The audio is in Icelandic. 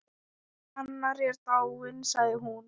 Anna er dáin sagði hún.